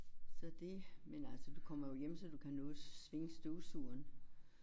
Så det men altså du kommer jo hjem så du kan nå at svinge støvsugeren